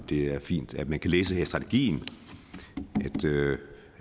det er fint at man kan læse her i strategien